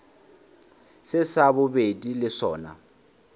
se sa bobedi le sona